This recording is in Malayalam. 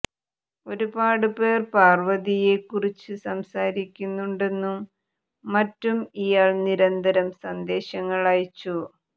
ഒരുപാട് പേർ പാർവതിയെ കുറിച്ച് സംസാരിക്കുന്നുണ്ടെന്നും മറ്റും ഇയാൾ നിരന്തരം സന്ദേശങ്ങൾ അയച്ചു